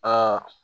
Aa